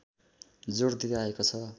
जोड दिँदै आएको छ